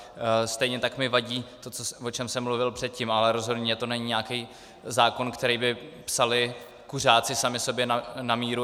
Stejně tak mi vadí to, o čem jsem mluvil předtím, ale rozhodně to není nějaký zákon, který by psali kuřáci sami sobě na míru.